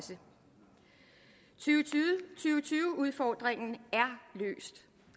tyve udfordringen